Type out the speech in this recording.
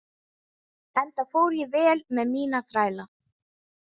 Enda fór ég vel með mína þræla.